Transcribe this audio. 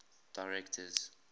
directors